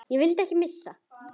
Þig vil ég ekki missa.